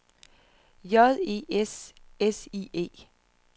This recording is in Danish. J E S S I E